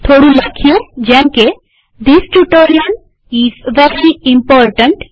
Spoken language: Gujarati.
થોડું લખાણ મુકીએ જેમકે this tutorial is very important